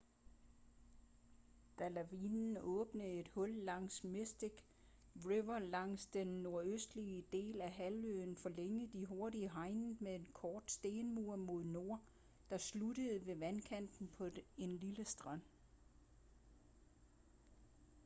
da lavvande åbnede et hul langs mystic river langs den nordøstlige del af halvøen forlængede de hurtigt hegnet med en kort stenmur mod nord der sluttede ved vandkanten på en lille strand